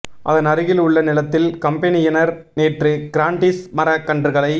அதன் அருகில் உள்ள நிலத்தில் கம்பெனியினர் நேற்று கிராண்டீஸ் மரக்கன்றுகளை